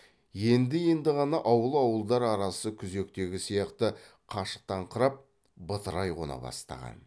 енді енді ғана ауыл ауылдар арасы күзектегі сияқты қашықтаңқырап бытырай қона бастаған